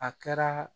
A kɛra